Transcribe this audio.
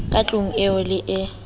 ka tlung eo le e